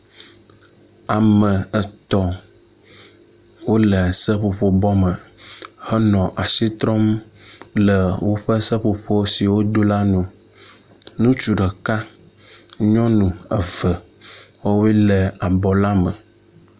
Ame etɔ̃ wo le seƒoƒo bɔ me henɔ asi trɔm le woƒe seƒoƒo si wodo la nu. Ŋutsu ɖeka nyɔnu eve wɔ woe le abɔ la me.